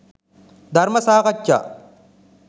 ධර්ම සාකච්ඡා